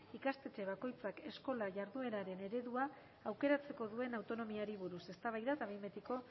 ikastetxe bakoitzak eskola jardueraren eredua aukeratzeko duen autonomiari buruz eztabaida eta behin betiko